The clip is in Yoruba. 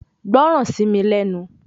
Gbọ́ràn sí mi lẹ́nu